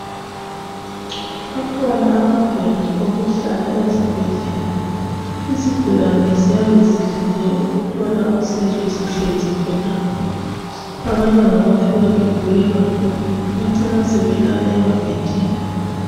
Akhona amabhentshi okuhlala esibhedlela, izigulane ziyabe zilinde ukuthola usizo zihlezi khonapho. Abanye ngabafika begule kakhulu bacine sebelala emabhentshini.